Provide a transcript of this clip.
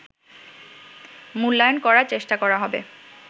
মূল্যায়ন করার চেষ্টা করা হবে